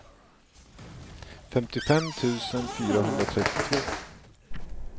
femtiofem tusen fyrahundratrettiotvå